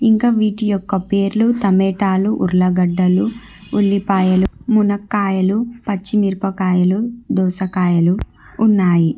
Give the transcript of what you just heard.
ఇంకా వీటి యొక్క పేర్లు టమేటాలు ఉర్లగడ్డలు ఉల్లిపాయలు మునక్కాయలు పచ్చిమిరపకాయలు దోసకాయలు ఉన్నాయి.